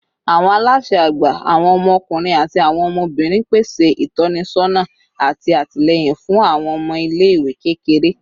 Awọn alaṣẹ agba, awọn ọmọkunrin ati awọn ọmọbirin, pese itọnisọna ati atilẹyin fun awọn ọmọ ile-iwe kékeré